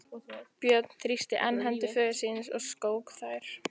Björn þrýsti enn hendur föður síns og skók þær.